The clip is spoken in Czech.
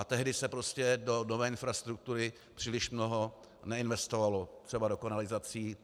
A tehdy se prostě do nové infrastruktury příliš mnoho neinvestovalo, třeba do kanalizací.